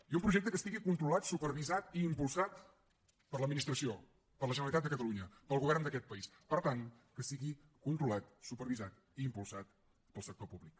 i un projecte que estigui controlat supervisat i impulsat per l’administració per la generalitat de catalunya pel govern d’aquest país per tant que sigui controlat supervisat i impulsat pel sector públic